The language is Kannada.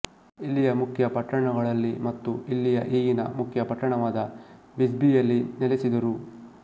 ಇಲ್ಲಿಯ ಮುಖ್ಯ ಪಟ್ಟಣಗಳಲ್ಲಿ ಮತ್ತು ಇಲ್ಲಿಯ ಈಗಿನ ಮುಖ್ಯ ಪಟ್ಟಣವಾದ ವಿಸ್ಬಿಯಲ್ಲಿ ನೆಲೆಸಿದರು